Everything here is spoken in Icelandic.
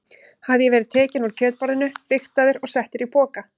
Hafði ég verið tekinn úr kjötborðinu, vigtaður og settur í poka?